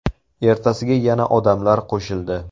Ertasiga yana odamlar qo‘shildi.